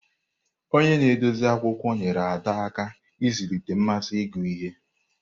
Onye na-edozi akwụkwọ nyeere Ada aka ịzụlite mmasị ịgụ ihe.